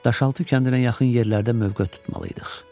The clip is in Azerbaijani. Daşaltı kəndinə yaxın yerlərdə mövqe tutmalıydıq.